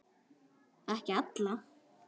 Ekki alla.